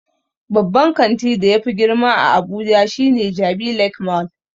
Babban kanti da yafi girma a abuja shine jabi lake mall